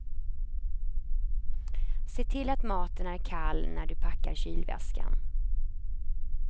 Se till att maten är kall när du packar kylväskan.